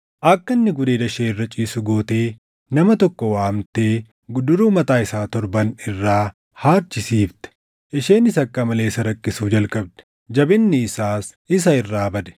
Akka inni gudeeda ishee irra ciisu gootee nama tokko waamtee guduruu mataa isaa torban irraa haadchisiifte. Isheenis akka malee isa rakkisuu jalqabde. Jabinni isaas isa irraa bade.